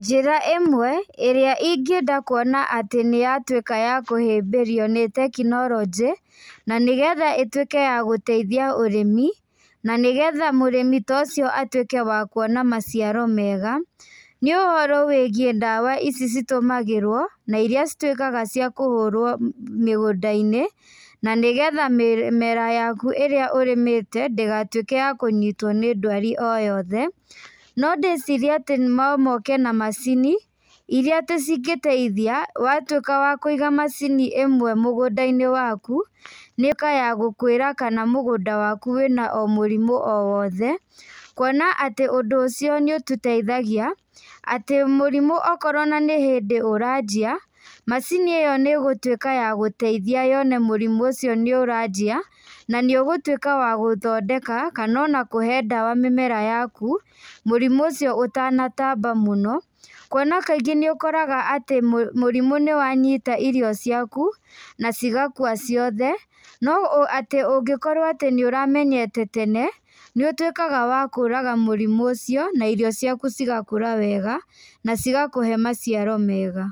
Njĩra ĩmwe, ĩrĩa ingĩenda kuona atĩ nĩyatuĩka ya kũhĩmbĩrio nĩ tekinorojĩ, na nĩgetha ĩtuĩke ya gũteithia ũrĩmi, na nĩgetha mũrĩmi ta ũcio atuĩke wa kuona maciaro mega, nĩ ũhoro wĩgiĩ ndawa ici citũmagĩrwo, na iria cituĩkaga cia kũhũrwo mĩgũndainĩ, na nĩgetha mĩmera yaku ĩrĩa ũrĩmĩte, ndĩgatuĩke ya kũnyitwo nĩ ndwari o yothe, no ndĩcirie no moke na macini, iria atĩ cingĩteithia, watuĩka wa kũiga macini ĩmwe mũgũndainĩ waku, nĩkayagũkwĩra kana mũgũnda waku wĩna o mũrimũ o wothe, kuona atĩ ũndũ ũcio nĩ ũtũteithgia, atĩ mũrimũ okorwo ona nĩ hĩndĩ ũranjia, macinĩ ĩyo nĩgũtuĩka ya gũteithia yone mũrimũ ũcio nĩũranjia, na nĩ ũgũtuĩka wa gũthondeka, kana ona kũhe ndawa mĩmera yaku, mũrimũ ũcio ũtanatamba mũno, kuona kaingĩ nĩũkoraga atĩ mũ mũrimũ nĩwanyita irio ciaku, na cigakua ciothe, no atĩ ũngĩkorwo atĩ nĩũramenyete tene, nĩũtuĩkaga wa kũraga mũrimũ ũcio, na irio ciaku cigakũra wega, na cigakũhe maciaro mega.